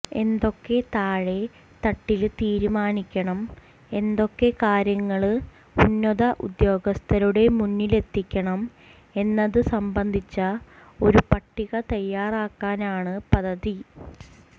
എന്തൊക്കെ താഴെ തട്ടില് തീരുമാനിക്കണം എന്തൊക്കെ കാര്യങ്ങള് ഉന്നത ഉദ്യോഗസ്ഥരുടെ മുന്നിലെത്തണം എന്നത് സംബന്ധിച്ച ഒരു പട്ടിക തയ്യാറാക്കാനാണ് പദ്ധതി